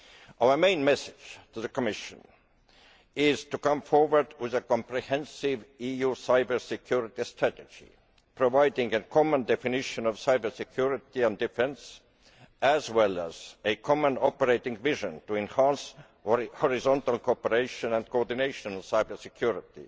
Our main message to the Commission is to come forward with a comprehensive EU cyber security strategy providing a common definition of cyber security and defence, as well as a common operating vision to enhance horizontal cooperation and coordination of cyber security